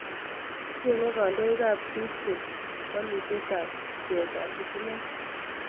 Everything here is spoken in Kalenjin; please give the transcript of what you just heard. Cheng'e kandoikap district wolutyetaab bcheetaab sitimeet